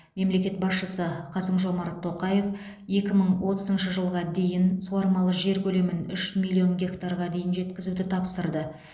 мемлекет басшысы қасым жомарт тоқаев екі мың отызыншы жылға дейін суармалы жер көлемін үш миллион гектарға дейін жеткізуді тапсырды